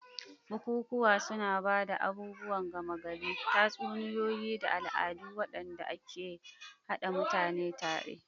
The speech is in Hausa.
Bukukuwan suna ba da abubuwan gama gari, tatsuniyoyi, da al'adu waɗanda ke haɗa mutane tare.